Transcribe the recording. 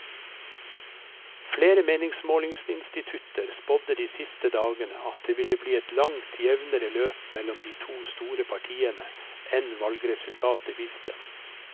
Flere meningsmålingsinstitutter spådde de siste dagene at det ville bli et langt jevnere løp mellom de to store partiene enn valgresultatet viste.